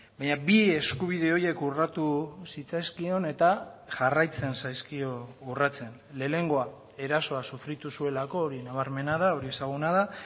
baina bi eskubide horiek urratu zitzaizkion eta jarraitzen zaizkio urratzen lehenengoa erasoa sufritu zuelako hori nabarmena da hori ezaguna da